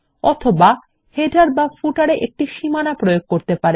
অথবা শিরোলেখ বা পাদলেখতে একটি সীমানা প্রয়োগ করতে পারেন